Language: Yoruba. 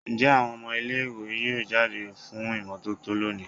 Njẹ awọn ọmọ ile-iwe yoo jade fun imototo loni?